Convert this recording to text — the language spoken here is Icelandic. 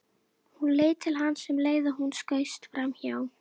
Hún leit til hans um leið og hann skaust framhjá.